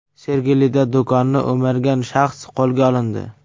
Sergelida do‘konni o‘margan shaxs qo‘lga olindi.